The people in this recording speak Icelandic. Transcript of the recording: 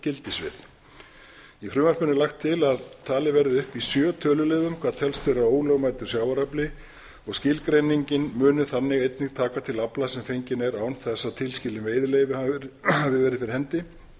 gildissvið í frumvarpinu er laga til að talið verði upp í sjö töluliðum hvað telst vera ólögmætur sjávarafli og skilgreiningin muni þannig einnig taka til afla sem fenginn er án þess að tilskilin veiðileyfi hafi verið fyrir hendi